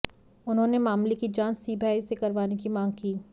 उन्होंने मामले की जांच सीबीआई से करवाने की मांग की